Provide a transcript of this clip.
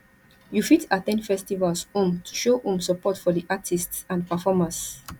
you fit at ten d festivals um to show um support for di artists and performers